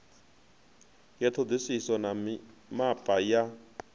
ya ṱhoḓisiso na mimapa ya